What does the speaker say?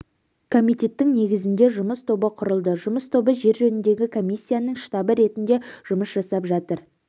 комитеттің негізінде жұмыс тобы құрылды жұмыс тобы жер жөніндегі комиссияның штабы ретінде жұмыс жасап жатыр